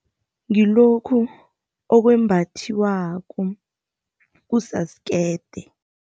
Ngilokhu okwembathiwako, kusasukerde.